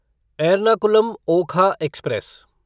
Ernakulam Okha express